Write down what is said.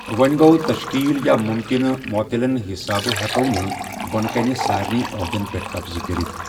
وۅں گوٚو، تشکیل یا ممکنہ معطلن حِسابہٕ ہٮ۪کو نہٕ بۅنہٕ کنہِ سارنےٕ عہدن پٮ۪ٹھ قبضہ کرِتھ۔